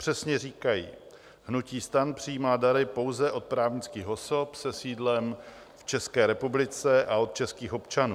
Přesně říkají: "Hnutí STAN přijímá dary pouze od právnických osob se sídlem v České republice a od českých občanů.